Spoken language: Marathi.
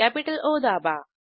कॅपिटल ओ दाबा